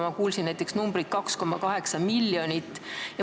Ma kuulsin näiteks numbrit 2,8 miljonit.